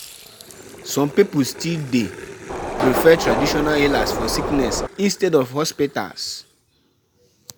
E dey common for pipo to combine herbal medicine and conventional treatment.